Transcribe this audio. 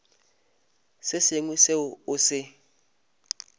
se sengwe seo o se